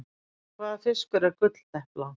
En hvaða fiskur er gulldepla?